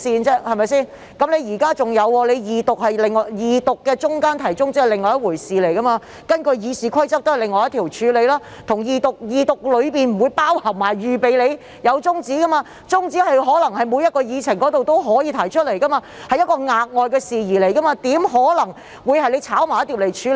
再者，現時在二讀辯論期間提出中止待續議案，這是另外一個議項，《議事規則》也是以另一項條文處理，二讀程序中並不包含中止待續議案的辯論，中止待續議案是每項議程中也可以提出的，是一項額外的事宜，怎可能你會"炒埋一碟"來處理呢？